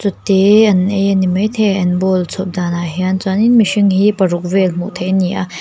te an ei a ni mai thei an bowl chhawp danah hian chuan in mihring hi paruk vel hmuh theih an ni a.